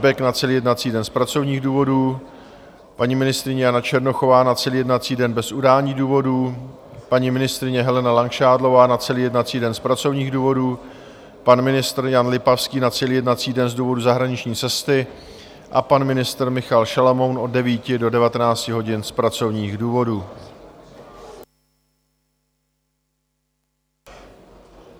Bek na celý jednací den z pracovních důvodů, paní ministryně Jana Černochová na celý jednací den bez udání důvodu, paní ministryně Helena Langšádlová na celý jednací den z pracovních důvodů, pan ministr Jan Lipavský na celý jednací den z důvodu zahraniční cesty a pan ministr Michal Šalomoun od 9 do 19 hodin z pracovních důvodů.